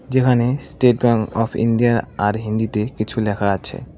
যেখানে State Bank of India আর হিন্দিতে কিছু লেখা আছে।